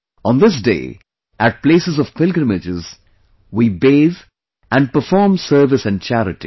On this day, at places of piligrimages, we bathe and perform service and charity